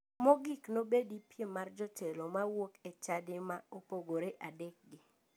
Mogik nobedi piem mar jotelo mawuok e chadi ma opogore adek gi.